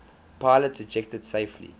pilots ejected safely